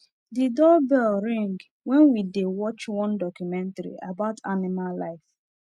the doorbell ring when we dey watch one documentary about animal life